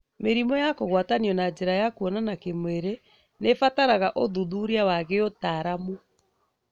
Mĩrimũ ya kũgwatanio na njĩra ya kuonana kĩmwĩrĩ nĩĩbataraga ũthuthuria wa gĩũtaramu